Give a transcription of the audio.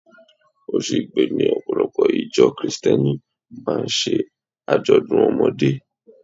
Oṣù Igbe ni Ọ̀pọ̀lọpọ̀ ìjọ Kirìtẹ́nì máa ń ṣe àjọ̀dún ọmọdé.